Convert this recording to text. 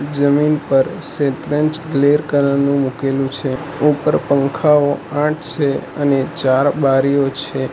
જમીન પર કલર નું મૂકેલું છે ઉપર પંખાઓ આઠ છે અને ચાર બારીઓ છે.